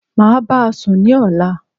Máa báasùn ní ọ̀la